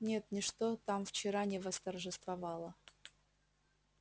нет ничто там вчера не восторжествовало